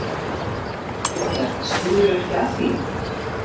Linda: Spurðirðu ekki af því?